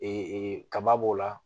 kaba b'o la